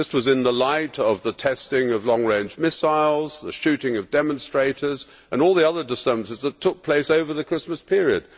in the light of the testing of long range missiles, the shooting of demonstrators and all the other disturbances that took place over the Christmas period.